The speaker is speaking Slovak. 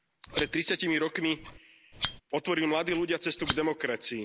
Pred tridsiatimi rokmi otvorili mladí ľudia cestu k demokracii.